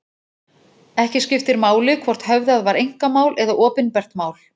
Ekki skiptir máli hvort höfðað var einkamál eða opinbert mál.